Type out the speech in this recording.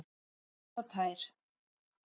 Hreinn og tær.